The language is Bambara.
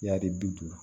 I y'a ye bi